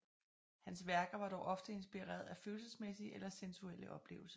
Hans værker var dog ofte inspireret af følelsesmæssige eller sensuelle oplevelser